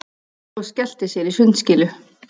Og skellti sér í sundskýlu.